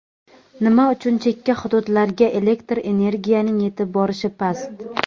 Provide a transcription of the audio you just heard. Nima uchun chekka hududlarga elektr energiyaning yetib borishi past?.